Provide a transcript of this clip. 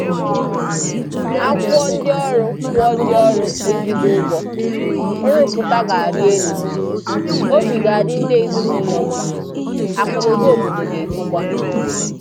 A kwụọ ndị ọrụ kwụọ ndị ọrụ ezigbo ụgwọ, nrụpụta ga-arị elu, obi ga-adị ndị ezinaụlọ mma, akụnaụba obodo ga-etokwa